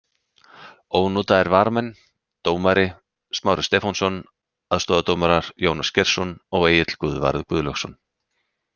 Ónotaðir varamenn: Dómari: Smári Stefánsson Aðstoðardómarar: Jónas Geirsson og Egill Guðvarður Guðlaugsson.